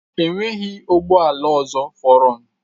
Enweghị ụgbọ ala ọzọ fọdụrụ.